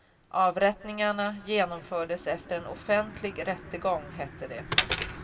Avrättningarna genomfördes efter en offentlig rättegång, hette det.